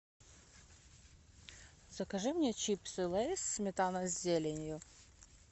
закажи мне чипсы лейс сметана с зеленью